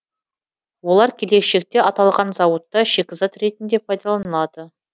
олар келешекте аталған зауытта шикізат ретінде пайдаланылады